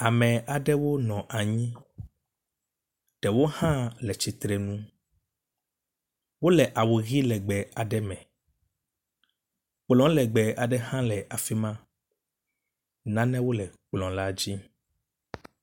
Amr aɖewo nɔ anyi ɖewo hã le tsitre nu. Wo le awu ʋi legbe aɖe me. Kplɔ legbe aɖe hã le afi ma. Nanewo le kplɔ la dzi.